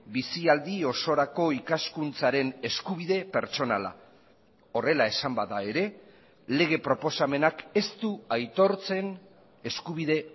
bizialdi osorako ikaskuntzaren eskubide pertsonala horrela esan bada ere lege proposamenak ez du aitortzen eskubide